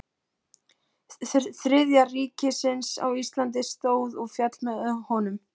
Þriðja ríkisins á Íslandi stóð og féll með honum.